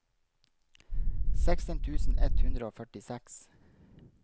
seksten tusen ett hundre og førtiseks